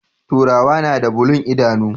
Turawa nada bulun idanu